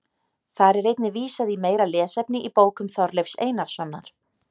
Þar er einnig vísað í meira lesefni í bókum Þorleifs Einarssonar.